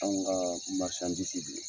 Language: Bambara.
Anw ga de